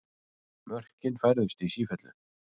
Mörkin færðust í sífellu.